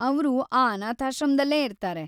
ಅವ್ರು ಆ ಅನಾಥಾಶ್ರಮ್ದಲ್ಲೇ ಇರ್ತಾರೆ.